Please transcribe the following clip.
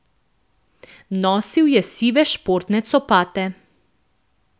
Nosil je sive športne copate.